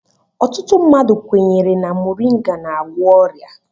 Ọtụtụ mmadụ kwenyere na moringa n'agwọ ọrịa.